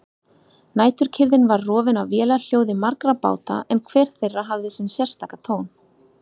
Næturkyrrðin var rofin af vélarhljóði margra báta en hver þeirra hafði sinn sérstaka tón.